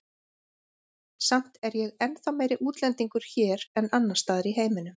Samt er ég ennþá meiri útlendingur hér en annars staðar í heiminum.